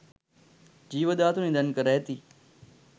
ජීව ධාතු නිධන් කර ඇති